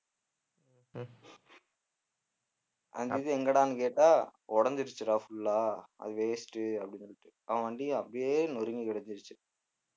அந்த இது எங்கடான்னு கேட்டா உடைஞ்சிருச்சுடா full ஆ அது waste உ அப்படின்னு சொல்லிட்டு அவன் வண்டியை அப்படியே நொறுங்கி கிடைச்சிருச்சு